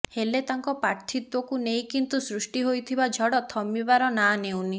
ହେଲେ ତାଙ୍କ ପ୍ରାର୍ଥିତ୍ୱକୁ ନେଇ କିନ୍ତୁ ସୃଷ୍ଟି ହୋଇଥିବା ଝଡ଼ ଥମିବାର ନାଁ ନେଉନି